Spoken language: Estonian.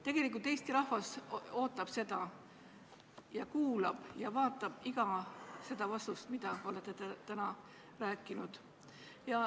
Tegelikult Eesti rahvas ootab seda, ta kuulab ja vaatab iga vastust, mis te täna ütlete.